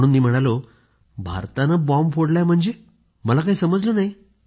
म्हणून मी म्हणालो भारतानं बॉम्ब फोडलाय म्हणजे मला काही समजलं नाही